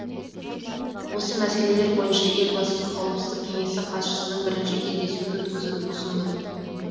осы мәселелер бойынша елбасы қауіпсіздік кеңесі хатшыларының бірінші кездесуін өткізуді ұсынды